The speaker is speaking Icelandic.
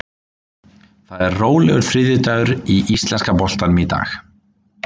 Það er rólegur þriðjudagur í íslenska boltanum í dag.